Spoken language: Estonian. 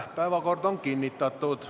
Päevakord on kinnitatud.